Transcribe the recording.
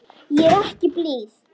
Ég er ekki blíð.